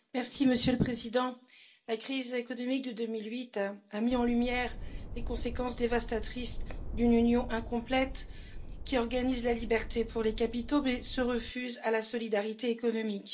Monsieur le Président, la crise économique de 2008 a mis en lumière les conséquences dévastatrices d'une union incomplète qui organise la libre circulation des capitaux, mais se refuse à la solidarité économique.